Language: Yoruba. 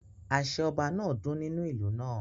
Àṣẹ Ọba náà dún nínú ìlú náà